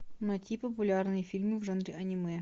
найти популярные фильмы в жанре аниме